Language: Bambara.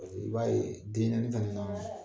I b'a ye den naaniani tan nin'